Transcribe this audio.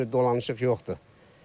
Başqa bir dolanışıq yoxdur.